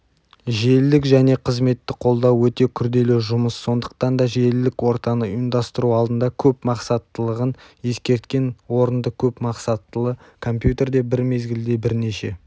желілік және қызметті қолдау өте күрделі жұмыссондықтанда желілік ортаны ұйымдастыру алдында көпмақсаттылығын ескерткен орындыкөпмақсаттылы компьютерде бір мезгілде бірнеше